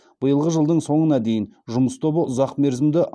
биылғы жылдың соңына дейін жұмыс тобы ұзақмерзімді